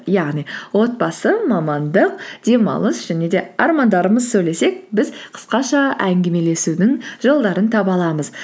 яғни отбасы мамандық демалыс және де армандарымыз сөйлесек біз қысқаша әңгімелесудің жолдарын таба аламыз